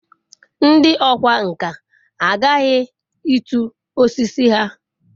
ndi okwá nkà aghaghi itu osiso ha